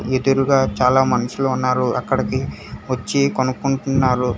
ఎదురుగా చాలా మనుషులు ఉన్నారు అక్కడికి వచ్చి కొనుక్కుంటున్నారు.